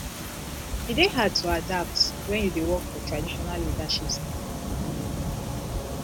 e dey hard to adapt wen you dey work for traditional leadership style